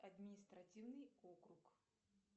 административный округ